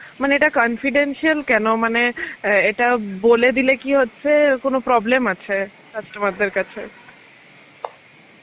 মানে এটা confidential কেন মানে আ এটা বলে দিলে কি হচ্ছে কোনো problem আছে? customer দের কাছে?